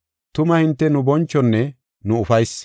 Tuma hinte nu bonchonne nu ufaysi.